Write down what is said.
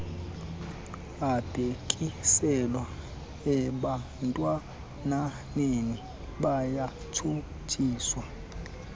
abhekiselwe ebantwananeni bayatshutshiswa